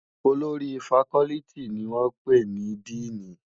Ólórì fákòlìtí ni wòn pé ni dìní